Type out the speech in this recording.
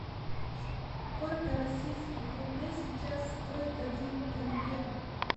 сколько российских рублей сейчас стоит один тенге